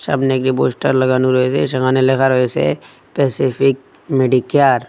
সামনে একডি পোস্টার লাগানো রয়েছে সেখানে লেখা রয়েসে প্যাসিফিক মেডিকেয়ার ।